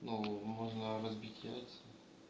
ну можно разбить яйца